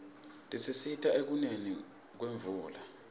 tisisita ekuneni kwemvula